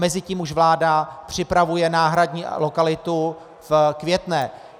Mezitím už vláda připravuje náhradní lokalitu v Květné.